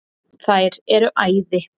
Þeir eru æði.